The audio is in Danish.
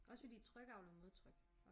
Også fordi tryk avler modtryk